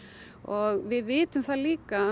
og við vitum það líka að